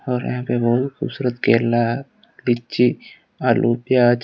और यहां पे बहोत खूबसूरत केला पिच्ची आलू प्याज--